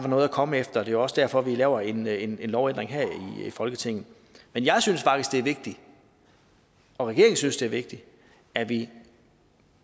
noget at komme efter og det er også derfor vi laver en en lovændring her i folketinget men jeg synes faktisk det er vigtigt og regeringen synes det er vigtigt at vi